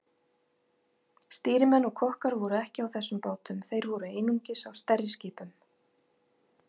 Stýrimenn og kokkar voru ekki á þessum bátum, þeir voru einungis á stærri skipunum.